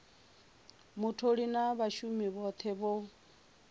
mutholi na vhashumi vhothe vho